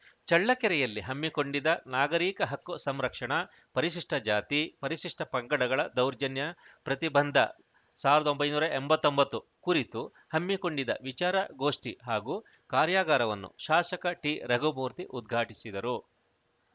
ಚಳ್ಳಕೆರೆಯಲ್ಲಿ ಹಮ್ಮಿಕೊಂಡಿದ್ದ ನಾಗರೀಕ ಹಕ್ಕು ಸಂರಕ್ಷಣಾ ಪರಿಶಿಷ್ಟಜಾತಿ ಪರಿಶಿಷ್ಟಪಂಗಡಗಳ ದೌರ್ಜನ್ಯ ಪ್ರತಿಬಂಧ ಸಾವಿರದ್ ಒಂಬೈನೂರ ಎಂಬತ್ತೊಂಬತ್ತು ಕುರಿತು ಹಮ್ಮಿಕೊಂಡಿದ್ದ ವಿಚಾರ ಗೋಷ್ಠಿ ಹಾಗೂ ಕಾರ್ಯಾಗಾರವನ್ನು ಶಾಸಕ ಟಿರಘುಮೂರ್ತಿ ಉದ್ಘಾಟಿಸಿದರು